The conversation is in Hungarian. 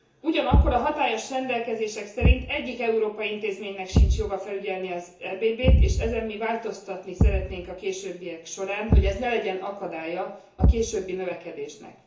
Ugyanakkor a hatályos rendelkezések szerint egyik európai intézménynek sincs joga felügyelni az EBB t, és ezen mi változtatni szeretnénk a későbbiek során, hogy ez ne legyen akadálya a későbbi növekedésnek.